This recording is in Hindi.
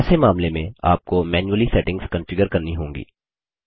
ऐसे मामले में आपको मैन्युअली सेटिंग्स कॉन्फ़िगर करनी होगी